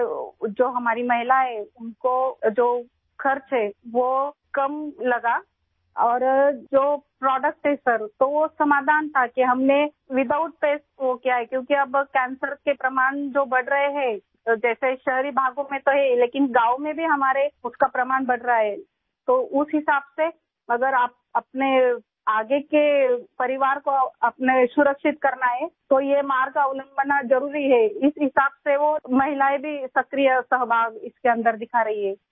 sir, جو ہماری خواتین ہیں ، ان کو جو خرچ ہے ، وہ کم لگا اور جو پروڈکٹس ہے ، سر ، وہ حل ملنے کے بعد، ہم نے بغیر پیسٹ وہ کیا کیونکہ اب کینسر کے شواہد بڑھ رہے ہیں، جیسے شہری علاقوں تو ہے ہی لیکن گاؤوں میں بھی اس کے شواہد بڑھتے جا رہے ہیں ، لہٰذا اگر آپ اپنے آنے والے خاندان کی حفاظت کرنا چاہتے ہیں تو یہ راستہ اختیار کرنا ضروری ہے، اسی مناسبت سے وہ خواتین بھی اس میں بڑھ چڑھ کر حصہ لے رہی ہیں